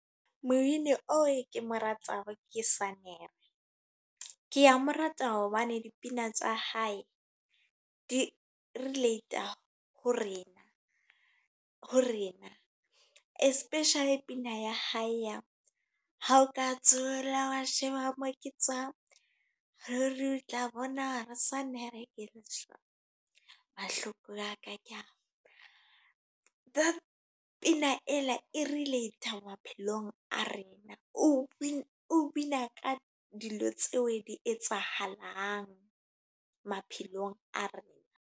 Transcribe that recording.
Mobini oo ke mo ratang ke Sannere. Ke a mo rata hobane dipina tsa hae di relate ho rena ho rena. Especially pina ya hae ya, hao ka thula wa sheba moo ke tswang, ruri o tla bona hore Sannere ke lesole. Mahloko a ka ke a . That pina ena e relate maphelong a rena. O bina ka di lo etsahalang maphelong a rena.